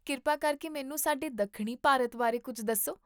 ਕਿਰਪਾ ਕਰਕੇ ਮੈਨੂੰ ਸਾਡੇ ਦੱਖਣੀ ਭਾਰਤ ਬਾਰੇ ਕੁੱਝ ਦੱਸੋ